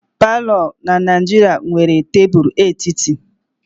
palọ na Naijiria nwere tebụl etiti.